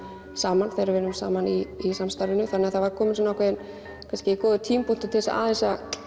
saman þegar við vinnum saman í í samstarfinu þannig að það var kominn svona ákveðinn kannski góður tímapunktur til þess að aðeins